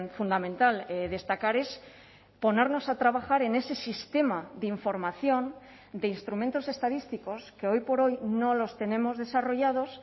fundamental destacar es ponernos a trabajar en ese sistema de información de instrumentos estadísticos que hoy por hoy no los tenemos desarrollados